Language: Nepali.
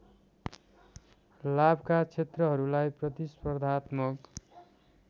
लाभका क्षेत्रहरूलाई प्रतिस्पर्धात्मक